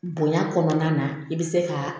Bonya kɔnɔna na i bɛ se ka